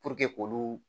k'olu